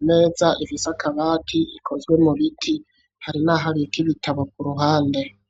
imeza ifise akabati ikozwe mu biti, hari naho abika ibitabo ku ruhande.